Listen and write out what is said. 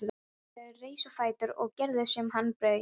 Erlendur reis á fætur og gerði sem hann bauð.